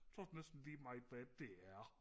så det næsten lige meget hvad det er